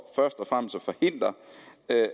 at